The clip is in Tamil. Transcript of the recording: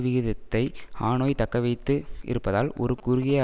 விகிதத்தை ஹனோய் தக்கவைத்து இருப்பதால் ஒரு குறுகிய